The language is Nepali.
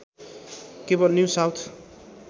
केवल न्यु साउथ